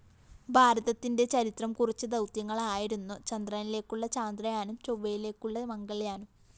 ഭാരതത്തിന്റെ ചരിത്രം കുറിച്ച ദൗത്യങ്ങളായിരുന്നു ചന്ദ്രനിലേക്കുള്ള ചാന്ദ്രയാനും ചൊവ്വയിലേക്കുള്ള മംഗള്‍യാനും